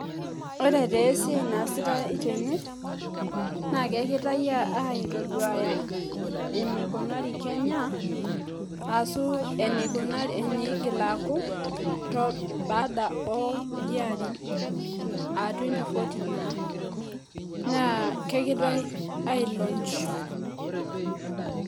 Ore taa esiai naasitae tene naa kegirae aitoduaya enikunari Kenya ashu, enikunari eneigil aaku baada oo kulie arin ah 2040 naa. Naa kegirae ai launch